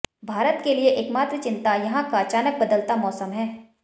भारत के लिये एकमात्र चिंता यहां का अचानक बदलता मौसम है